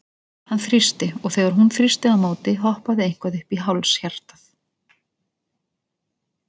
Hann þrýsti, og þegar hún þrýsti á móti, hoppaði eitthvað upp í háls hjartað?